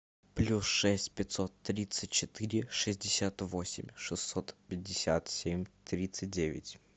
плюс шесть пятьсот тридцать четыре шестьдесят восемь шестьсот пятьдесят семь тридцать девять